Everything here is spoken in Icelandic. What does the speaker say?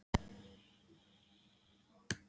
Hefurðu aldrei leikið þér með bensín og eldspýtur?